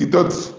तिथंच